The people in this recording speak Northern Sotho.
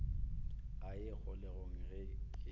a ye kgolegong ge ke